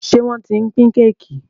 Njé wón t'in pin Kéèkì?